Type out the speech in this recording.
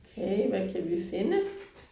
Okay hvad kan vi finde